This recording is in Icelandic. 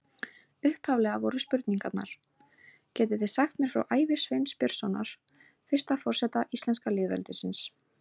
Upphaflega voru spurningarnar: Getið þið sagt mér frá ævi Sveins Björnssonar, fyrsta forseta íslenska lýðveldisins?